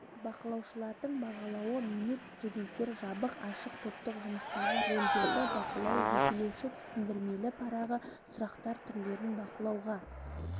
бақылаушылардың бағалауы минут студенттер жабық ашық топтық жұмыстағы рөлдерді бақылау жетелеуші түсіндірмелі парағы сұрақтар түрлерін бақылауға